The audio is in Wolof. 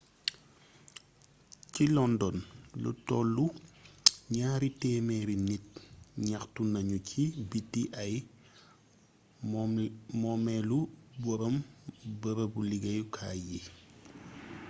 ci london lu tollu gnaari témééri nit gnaxtu nagnu ci biti ay moomélu borom beereebu liggéyu kaay yi